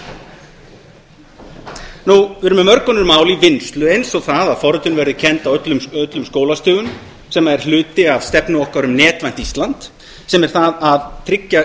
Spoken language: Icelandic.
við erum með mörg önnur mál í vinnslu eins og það að forritun verði kennd á öllum skólastigum sem er hluti af stefnu okkar um netvænt ísland sem er það að byggja